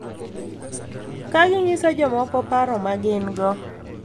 Ka ginyiso jomoko paro ma gin-go.